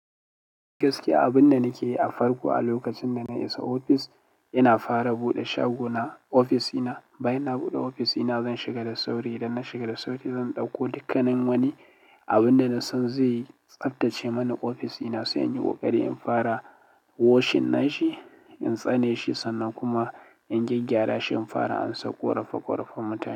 Gaskiya abin da nake yi a farko a lokacin da na isa ofis, ina fara buɗe shago na, ofisina. Bayan na buɗe ofisina zan shiga da sauri. Idan na shiga da sauri zan ɗauko dukkanin wani abin danasan zai tsaftace mun ofisina sai in yi ƙoƙari in fara washing nashi, in tsane shi sannan kuma in gyaggyara shi. In fara ansan ƙorafa ƙorafan mutane.